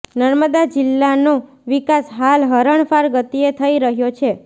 નર્મદા જિલ્લાનો વિકાસ હાલ હરણફાળ ગતિએ થઈ રહ્યો છે